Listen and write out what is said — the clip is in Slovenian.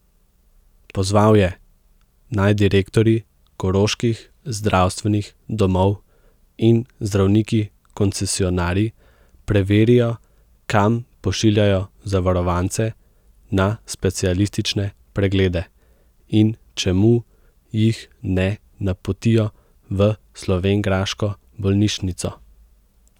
Pozval je, naj direktorji koroških zdravstvenih domov in zdravniki koncesionarji preverijo, kam pošiljajo zavarovance na specialistične preglede in čemu jih ne napotijo v slovenjgraško bolnišnico.